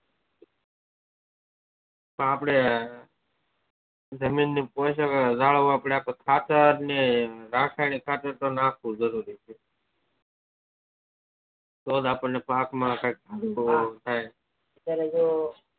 આપદે જમીન ની પોસક જાળવવા માટે ખાતરકે રાસાયણિક ખાતર તો નાખવું જરૂરી છ તો જ આપણને પાક માં કઈક પાકે